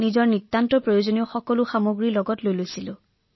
আৰু তাৰ লগতে মই ঔষধটো পুনৰ চিকিৎসকৰ পৰামৰ্শৰ সৈতে আৰম্ভ কৰিছিলো